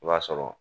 I b'a sɔrɔ